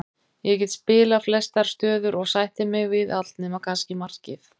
Ég get spilað flestar stöður og sætti mig við allt nema kannski markið.